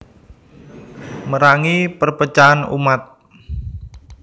Merangi perpecahan umat